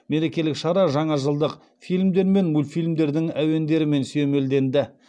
мерекелік шара жаңа жылдық фильмдер мен мультфильмдердің әуендерімен сүйемелденді